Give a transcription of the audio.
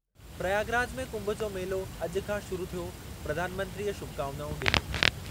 प्रयागराज में कुंभ जो मेलो अॼु खां शुरु थियो, प्रधानमंत्रीअ शुभकामनाऊं ॾिनियूं।